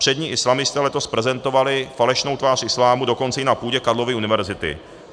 Přední islamisté letos prezentovali falešnou tvář islámu dokonce i na půdě Karlovy univerzity.